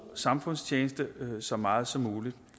samfundstjeneste så meget som muligt